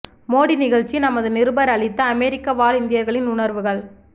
மோடி நிகழ்ச்சி நமது நிருபர் அளித்த அமெரிக்க வாழ் இந்தியர்களின் உணர்வுகள்